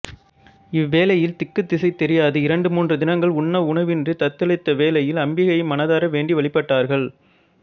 இவ்வேளையில் திக்குத் திசை தெரியாது இரண்டு மூன்று தினங்கள் உன்ன உணவின்றித் தத்தளித்த வேளையில் அம்பிகையை மனதார வேண்டி வழிபட்டார்கள்